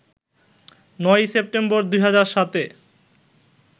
৯ই September ২০০৭ A